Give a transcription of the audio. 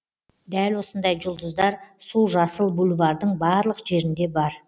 дәл осындай жұлдыздар су жасыл бульвардың барлық жерінде бар